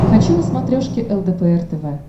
хочу на смотрешке лдпр тв